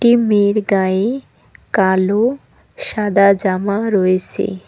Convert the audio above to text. মেয়ের গায়ে কালো সাদা জামা রয়েছে।